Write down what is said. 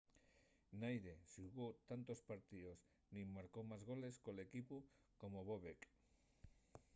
naide xugó tantos partíos nin marcó más goles col equipu como bobek